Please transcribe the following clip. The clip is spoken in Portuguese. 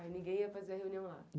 Aí ninguém ia fazer reunião lá?